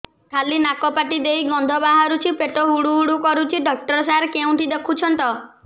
ଖାଲି ନାକ ପାଟି ଦେଇ ଗଂଧ ବାହାରୁଛି ପେଟ ହୁଡ଼ୁ ହୁଡ଼ୁ କରୁଛି ଡକ୍ଟର ସାର କେଉଁଠି ଦେଖୁଛନ୍ତ